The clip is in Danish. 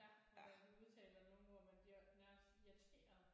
Ja hvordan de udtaler nogle ord hvor man bliver nærmest irriteret